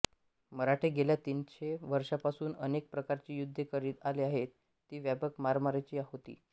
मराठे गेल्या तीनशे वर्षांपासून अनेक प्रकारची युद्धे करीत आले आहेत ती व्यापक मारामारीच होती